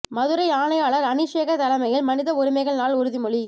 மதுரை ஆணையாளர் அனீஷ்சேகர் தலைமையில் மனித உரிமைகள் நாள் உறுதிமொழி